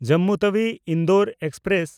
Jammu ᱛᱟᱣᱤ–ᱤᱱᱫᱳᱨ express